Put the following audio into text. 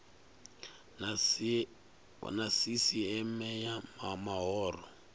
na sisieme ya mahoro o